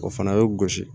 O fana bɛ gosi